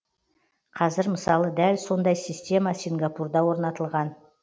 қазір мысалы дәл сондай система сингапурда орнатылған